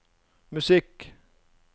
musikk